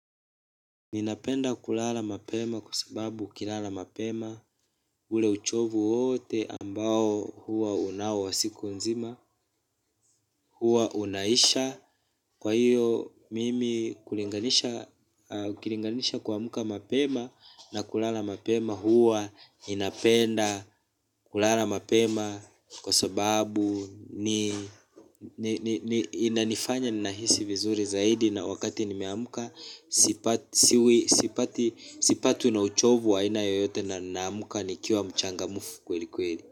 Ninapenda kulala mapema kwa sababu ukilala mapema ule uchovu wote ambao huwa unao wa siku nzima huwa unaisha kwa hiyo mimi hulinganisha ukilinganisha kuamka mapema na kulala mapema huwa ninapenda kulala mapema kwa sababu ni ni inifanya ninahisi vizuri zaidi na wakati nimeamka. Sipatwi na uchovu wa aina yoyote na naamka nikiwa mchangmfu kweli kweli.